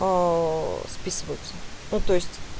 списываются ну то есть